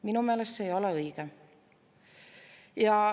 Minu meelest see ei ole õige.